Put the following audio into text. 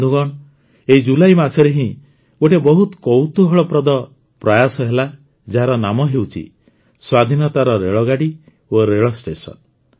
ବନ୍ଧୁଗଣ ଏହି ଜୁଲାଇ ମାସରେ ହିଁ ଗୋଟିଏ ବହୁତ କୌତୂହଳପ୍ରଦ ପ୍ରୟାସ ହେଲା ଯାହାର ନାମ ହେଉଛି ସ୍ୱାଧୀନତାର ରେଳଗାଡ଼ି ଓ ରେଳଷ୍ଟେସନ